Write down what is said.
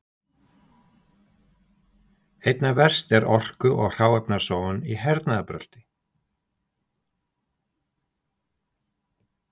Einna verst er orku- og hráefnasóun í hernaðarbrölti.